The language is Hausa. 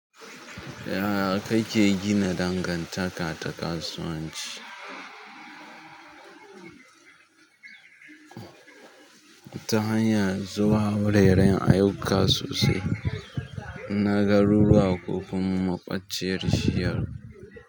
Yaya kake gina dangantaka ta kasuwanci? Ta hanyar zuwa wureren ayyuka sosai na garuruwa ko kuma ma ƙwanciyar shiyar?